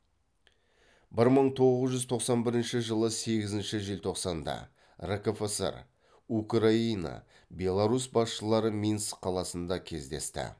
бір мың тоғыз жүз тоқсан бірінші жылы сегізінші желтоқсанда ркфср украина беларусь басшылары минск қаласында кесдесті